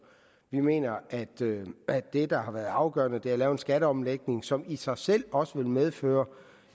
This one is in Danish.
vi mener at at det der har været afgørende har været at lave en skatteomlægning som i sig selv også vil medføre